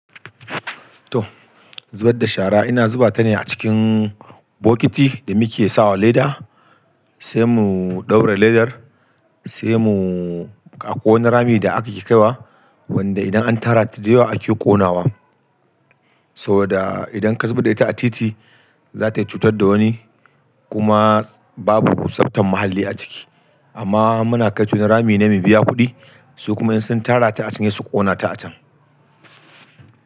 To, zubar da shara ina zuba ta ne a cikin bokiti da muke sawa leda, sai mu ɗaura ledar, sai mu akwai wani rami da ake kaiwa wanda idan an tara ta da yawa ake ƙonawa. Saboda idan ka zubar da ita a titi, za ta iya cutar da wani kuma babu tsaftan muhalli a ciki. Amma muna kai ta wani rami ne mu biya kuɗi su kuma in sun tara ta a can hesu ƙona ta a can.